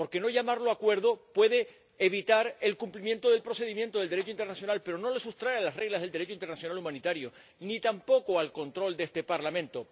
Porque no llamarlo acuerdo puede evitar el cumplimiento del procedimiento del Derecho internacional, pero no lo sustrae a las reglas del Derecho internacional humanitario ni tampoco al control de este Parlamento.